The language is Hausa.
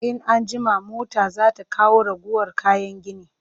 In an jima mota za ta kawo ragowar kayan gini